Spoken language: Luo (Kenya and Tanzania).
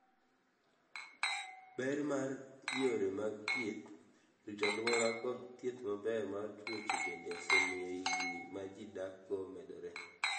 ber mar yore mag thieth, rito alwora kod thieth maber mar tuoche bende osemiyo higni ma ji dakgo omedre.